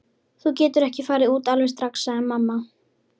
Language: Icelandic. Þú getur ekki farið út alveg strax, sagði mamma.